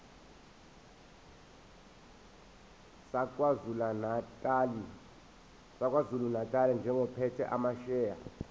sakwazulunatali njengophethe amasheya